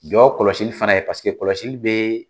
Jɔ kɔlɔsi fana ye paseke kɔlɔsi bɛ na